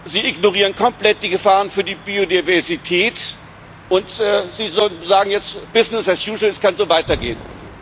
Sie ignorieren komplett die Gefahren für die Biodiversität, und Sie sagen jetzt Business as usual es kann so weitergehen.